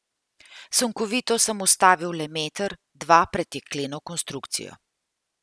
Sunkovito sem ustavil le meter, dva pred jekleno konstrukcijo.